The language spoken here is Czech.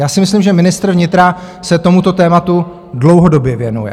Já si myslím, že ministr vnitra se tomuto tématu dlouhodobě věnuje.